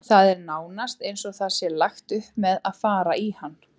Það er nánast eins og það sé lagt upp með að fara í hann.